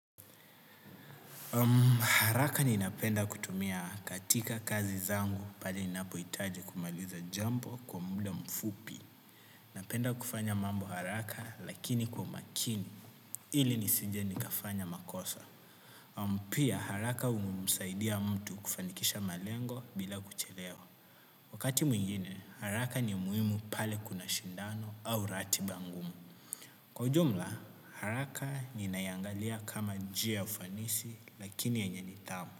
Haraka ninapenda kutumia katika kazi zangu pale ninapohitaji kumaliza jambo kwa muda mfupi. Napenda kufanya mambo haraka lakini kwa makini, ili nisije nikafanya makosa. Pia haraka humsaidia mtu kufanikisha malengo bila kuchelewa. Wakati mwingine, haraka ni muhimu pale kuna shindano au ratiba ngumu. Kwa ujumla, haraka ninaiangalia kama njia ya ufanisi lakini yenye nithamu.